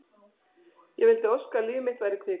Ég vildi óska að líf mitt væri kvikmynd.